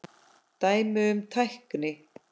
Dæmi um tækni